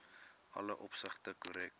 alle opsigte korrek